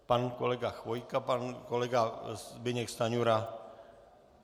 Pan kolega Chvojka, pan kolega Zbyněk Stanjura.